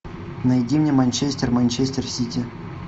найди мне манчестер манчестер сити